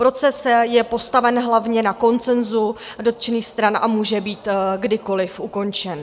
Proces je postaven hlavně na konsenzu dotčených stran a může být kdykoliv ukončen.